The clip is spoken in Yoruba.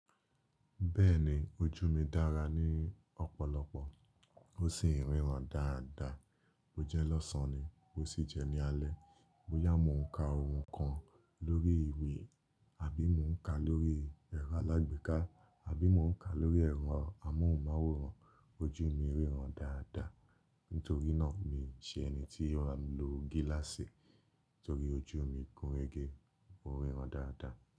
Bẹ́ẹ̀ni ojú mi dára ní ọ̀pọ̀lọpọ̀ ó sì ń ríran dáadáa. O jẹ́ lọ́sàn-án ni, ó sì jẹ́ ní alẹ́. Bóyá mò ń ka ohùn kan lórí ìwé àbí mò ń ka lórí ẹ̀rọ alágbèéká àbí mò ń ka lórí ẹ̀rọ amóhùnmáwòrán ojú mi ń ríran dáadáa. Nítorí náà mi ò ṣe ẹni tí yóò rá mi lo gíláàsì torí ojú mi gúnrégé ó ń ríran dáadáa.